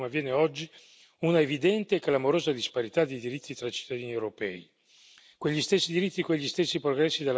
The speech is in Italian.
È però assolutamente inaccettabile che si produca, come avviene oggi, una evidente e clamorosa disparità di diritti tra cittadini europei.